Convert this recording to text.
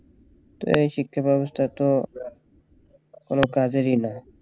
এই শিক্ষাব্যবস্থা তো কোন কাজেরই না